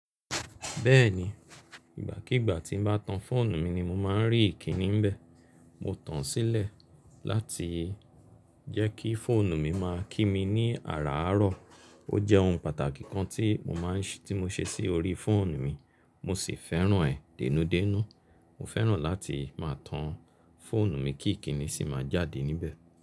Bẹ́ẹ̀ni, ìgbàkígbà tí n bá tan fóònù mi ni mo máa ń rí ìkíni níbẹ̀. Mo tan sílẹ̀ láti jẹ́ kí fóònù mi máa kí mi ní àràárọ̀. Ó jẹ́ ohun pàtàkì kan tí mo ṣe sí orí fóònù mi mo sì fẹ́ràn ẹ́ dènúdénú. Mo fẹ́ràn láti máa tan fóònù mi kí ìkíni sì máa jáde níbẹ̀.